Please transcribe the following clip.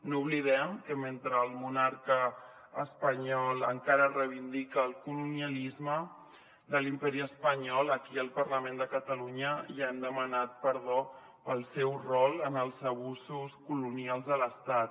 no oblidem que mentre el monarca espanyol encara reivindica el colonialisme de l’imperi espanyol aquí al parlament de catalunya ja hem demanat perdó pel seu rol en els abusos colonials de l’estat